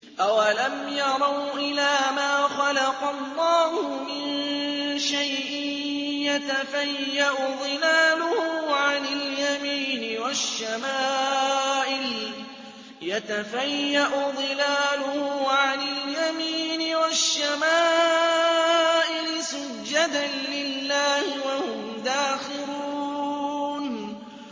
أَوَلَمْ يَرَوْا إِلَىٰ مَا خَلَقَ اللَّهُ مِن شَيْءٍ يَتَفَيَّأُ ظِلَالُهُ عَنِ الْيَمِينِ وَالشَّمَائِلِ سُجَّدًا لِّلَّهِ وَهُمْ دَاخِرُونَ